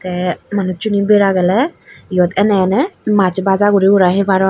tey manuj sune bera geley eyot eney eney maas baja guri gurai heparon.